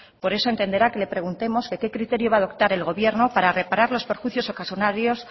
por eso entenderá que le preguntemos qué criterio va a adoptar el gobierno para reparar los perjuicios ocasionados